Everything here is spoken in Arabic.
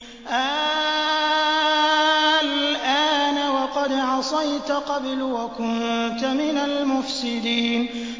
آلْآنَ وَقَدْ عَصَيْتَ قَبْلُ وَكُنتَ مِنَ الْمُفْسِدِينَ